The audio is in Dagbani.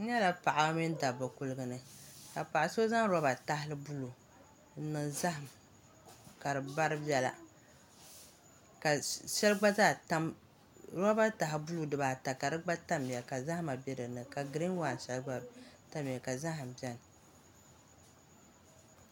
N nyɛla paɣaba mini dabba kuligu ni ka paɣa so zaŋ roba tahali buluu n niŋ zaham ka roba taha buluu dibaa ta ka di gba tamya ka zahama bɛ dinni ka giriin waan shɛli gba tamya ka zaham biɛni